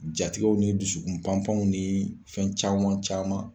Ja tigɛw ni dusukun panpanyo ni fɛn caman caman